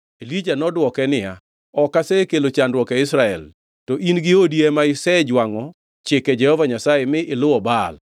Elija nodwoke niya, “Ok asekelo chandruok e Israel. To in gi odi ema isejwangʼo chike Jehova Nyasaye mi iluwo Baal.